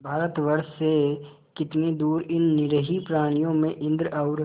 भारतवर्ष से कितनी दूर इन निरीह प्राणियों में इंद्र और